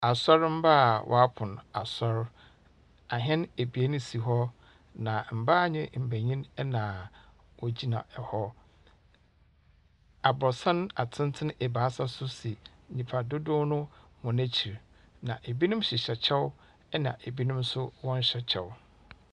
Asɔrmba a wɔapon asɔr, ahɛn ebien si hɔ, na mbaa nye mbanyin na wogyina hɔ. Aborɔsan atsentsen ebiasa so si nyimpa dodow no hɔn ekyir. Na binom hyehyɛ kyɛw na binom nso wɔnnhyɛ kyɛw.